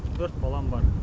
төрт балам бар